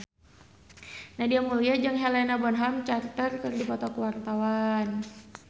Nadia Mulya jeung Helena Bonham Carter keur dipoto ku wartawan